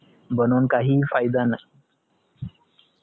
बनऊन काहीही फायदा नाही